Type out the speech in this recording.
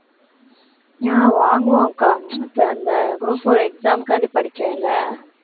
அஹ் வாங்குவோம் அக்கா இப்ப இந்த group four exam க்காண்டி படிக்கேன் இல்ல